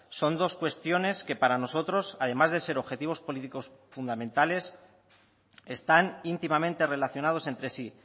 son dos cuestiones que para nosotros además de ser objetivos políticos fundamentales están íntimamente relacionados entre sí